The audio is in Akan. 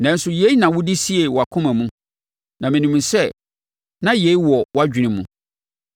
“Nanso yei na wode siee wʼakoma mu; na menim sɛ na yei wɔ wʼadwene mu.